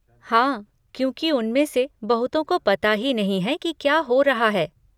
हाँ, क्योंकि उनमें से बहुतों को पता ही नहीं है कि क्या हो रहा है।